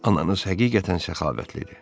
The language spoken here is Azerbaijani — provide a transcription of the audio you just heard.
Ananız həqiqətən səxavətlidir.